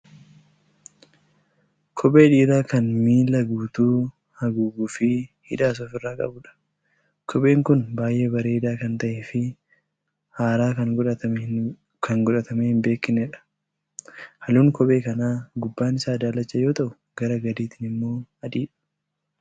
Kophee dhiiraa kan miila guutuu haguuguufi hidhaas of irraa qabudha. Kopheen kun baay'ee bareedaa kan ta'eefi haaraa kan godhatamee hin beeknedha. Haalluun kophee kanaa gubbaan isaa daalacha yoo ta'u, gara gadiitiin immoo adiidha.